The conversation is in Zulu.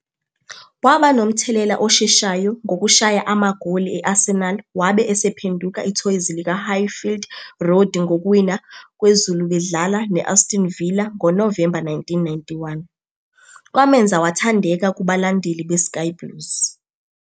Waba nomthelela osheshayo ngokushaya amagoli e-Arsenal wabe esephenduka ithoyizi likaHighfield Road ngokuwina kwezulu bedlala ne-Aston Villa ngoNovemba 1991, kwamenza wathandeka kubalandeli beSky Blues.